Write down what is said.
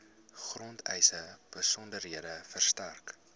grondeise besonderhede verstrek